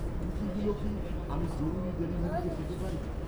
কুকিগুলো কি, আমি জরুরি ডেলিভারিতে পেতে পারি?